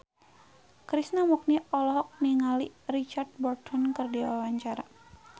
Krishna Mukti olohok ningali Richard Burton keur diwawancara